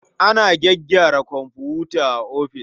Ana gyaggyara komfuta a ofis.